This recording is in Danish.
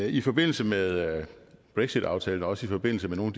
i forbindelse med brexitaftalen og også i forbindelse med nogle